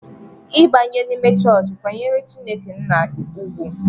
I banye n'ime chọọchị, kwanyere Chineke nna ugwu!